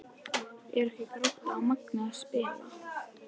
Eru ekki Grótta og Magni að spila?